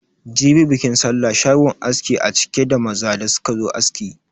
Jibi bikin sallah, shagon askin a cike da maza da suka zo aski.